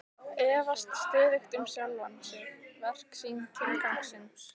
Efast stöðugt um sjálfan sig, verk sín, tilgang sinn.